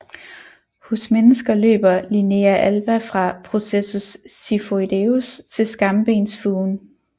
Hos mennesker løber linea alba fra processus xiphoideus til skambensfugen